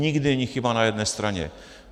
Nikdy není chyba na jedné straně.